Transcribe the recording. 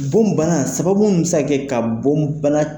Bon bana sababu min bɛ se ka kɛ ka bon bana